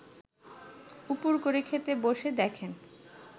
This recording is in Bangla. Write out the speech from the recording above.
উপুড় করে খেতে বসে দেখেন